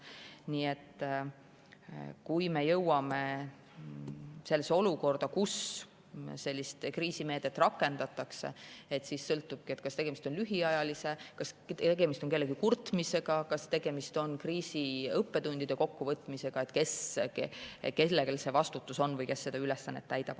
Nii et kui me jõuame olukorda, kus sellist kriisimeedet rakendatakse, siis sõltubki, kas tegemist on lühiajalise lahendusega, kas tegemist on kellegi kurtmisega, kas tegemist on kriisiõppetundide kokkuvõtmisega, kellel see vastutus on või kes seda ülesannet täidab.